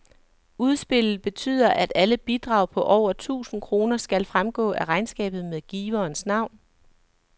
Udspillet betyder, at alle bidrag på over tusind kroner skal fremgå af regnskabet med giverens navn.